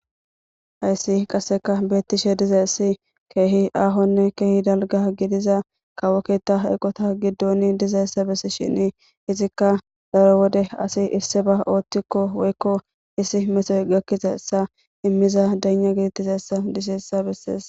hayssi qasseka beettishe diza issi keehi aahonne keehi dalga gidiza kawokketa hyqota giddoni dizayssa bessi shin izikka daro wode asi isse ba ooththikko woykko issi mesoy gakkiza essa immiza dana gidittizaessa diseessa bessees